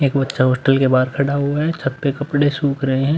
एक बच्चा हॉस्टल के बाहर खड़ा हुआ है। छत पे कपड़े सूख रहे हैं।